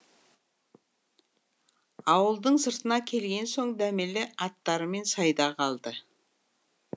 ауылдың сыртына келген соң дәмелі аттармен сайда қалды